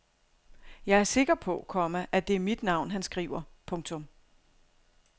Jeg er sikker på, komma at det er mit navn han skriver. punktum